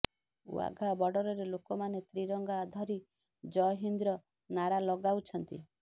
ୱାଘା ବର୍ଡରରେ ଲୋକମାନେ ତ୍ରିରଙ୍ଗା ଧରି ଜୟହିନ୍ଦ୍ ର ନାରା ଲଗାଉଛନ୍ତି